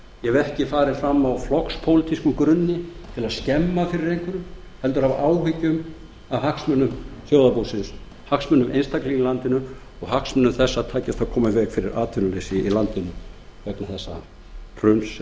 ég hef ekki farið fram á flokkspólitískum grunni til að skemma fyrir einhverjum heldur af áhyggjum af hagsmunum þjóðarbúsins hagsmunum einstaklinga í landinu og hagsmunum þess að geta komið í veg fyrir atvinnuleysi í landinu vegna þessa hruns